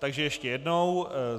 Takže ještě jednou.